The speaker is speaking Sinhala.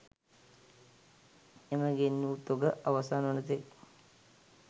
එම ගෙන් වූ තොග අවසන් වන තෙක්